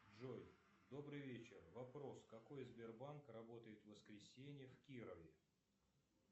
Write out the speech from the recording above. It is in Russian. джой добрый вечер вопрос какой сбербанк работает в воскресенье в кирове